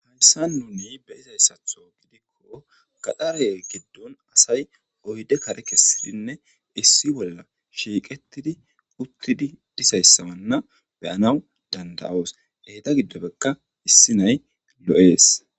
Hayssa nuni be'izaa izaniso gidikko gaxaare giddon asay oydde kare kessidinne issi bolla shiiqettidi uttidi dissa issonne be'anaw dandayoos. Deeta giddobekka issi na'aay lo'eeaes.